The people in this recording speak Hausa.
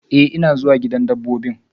Eh, ina zuwa gidan dabbobin.